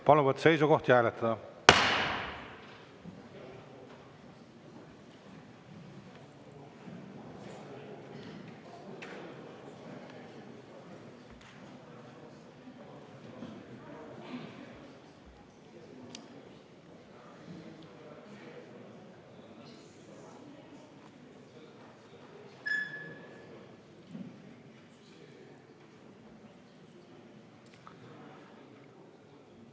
Palun võtta seisukoht ja hääletada!